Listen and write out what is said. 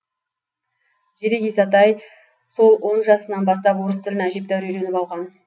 зерек исатай сол он жасынан бастап орыс тілін әжептәуір үйреніп алған